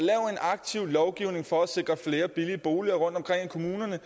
aktiv lovgivning for at sikre flere billige boliger rundtomkring i kommunerne